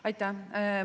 Aitäh!